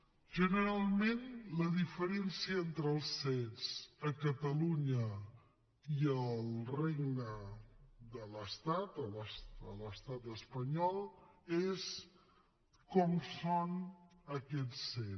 generalment la diferència entre els cet a catalunya i al regne de l’estat a l’estat espanyol és com són aquests cet